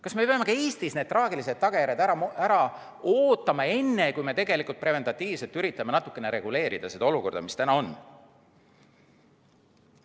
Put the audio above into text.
Kas me peame ka Eestis need traagilised tagajärjed ära ootama, enne kui me preventiivselt üritame natukene reguleerida seda olukorda, mis täna on?